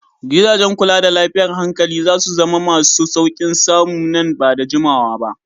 Gidajen kula da lafiyar hankali za su zama masu sauƙin samu nan ba da jimawa ba.